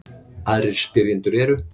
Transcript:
Aðrir spyrjendur eru: